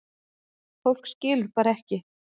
Fólk skilur bara ekki